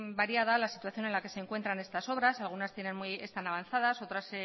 variada la situación en la que se encuentra estas obras algunas están avanzadas otras